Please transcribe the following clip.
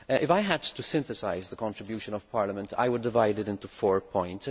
If had to synthesise the contribution of Parliament I would divide it into four points